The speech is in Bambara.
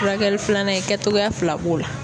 Furakɛli filanan in kɛtogoya fila b'o la.